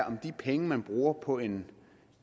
om de penge man bruger på en